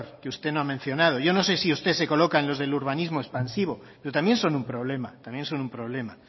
que usted no ha mencionado yo no sé si usted se coloca en los de urbanismo expansivo pero también son un problema también son un problema